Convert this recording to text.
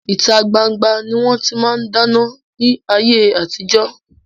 Ìta gbangba ni wọn ti máa ń dáná ni ayé àtijọ́